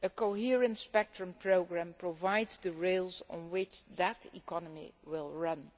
A coherent spectrum programme provides the rails on which that economy will run.